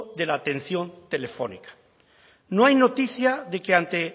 de la atención telefónica no hay noticia de que ante